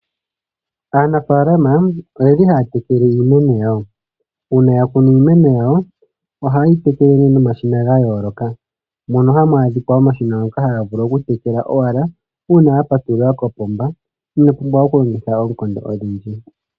Aanafaalama oyeli haya tekele iimeno yawo, uuna ya kunu iimeno yawo ohaye yi tekele nee nomashina ga yooloka, mono hamu vulu oku adhika omashina ngonobhaga vulu oku tekela owala uuna ya patulula kopomba, inoo pumbwa oku longitha oonkondo odhindji.